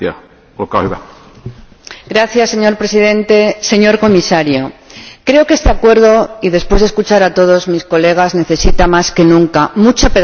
Señor Presidente, señor Comisario, creo que este Acuerdo —y después de escuchar a todos mis colegas— necesita más que nunca mucha pedagogía y mucha transparencia.